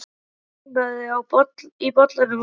En það kólnaði í bollanum á meðan